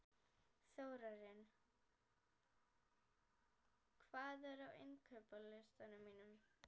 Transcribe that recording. Þórarinn, hvað er á innkaupalistanum mínum?